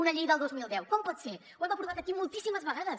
una llei del dos mil deu com pot ser ho hem aprovat aquí moltíssimes vegades